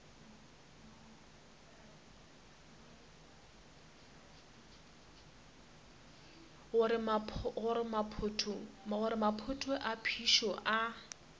gore maphoto a phišo a